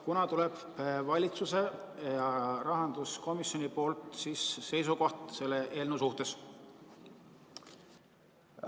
Kunas tuleb valitsuselt ja rahanduskomisjonilt seisukoht selle eelnõu suhtes?